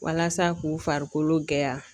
Walasa k'u farikolo gɛya